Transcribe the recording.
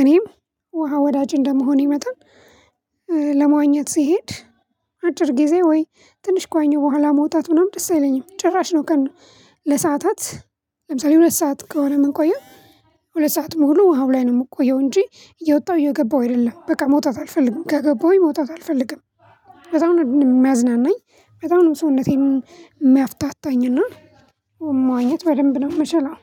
እኔም ውሃ ወዳጅ እንደመሆኔ መጠን ለመዋኘት ሲሄድ አጭር ጊዜ ወይ ትንሽ ከዋኘው በኋላ መውጣት ምናምን ደስ አይለኝም ጭራሽ ነው። ቀን ለሰአታት ለምሳሌ ሁለት ሰዓት ከሆነ ምንቆየው ሁለት ሰዓት ሙሉ ውሃው ላይ ነው የምቆየው እንጂ እየወጣሁ እየገባሁ አይደለም በቃ መውጣት አልፈልግም ከገባሁኝ መውጣት አልፈልግም። በጣም ነው የሚያዝናናኝ በጣም ነው ሰውነቴን የሚያፍታታኝ እና መዋኝት በደንብ ነው መቼም አሁን።